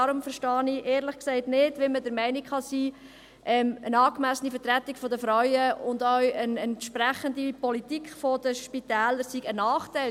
Deswegen verstehe ich, ehrlich gesagt, nicht, wie man der Meinung sein kann, dass eine angemessene Vertretung der Frauen und auch eine entsprechende Politik der Spitäler sei ein Nachteil.